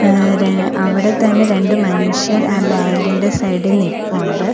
ആഹ് ര അവിടെത്തന്നെ രണ്ടു മനുഷ്യർ ആ ബാങ്ക് ഇൻ്റെ സൈഡി നിപ്പൊണ്ട്.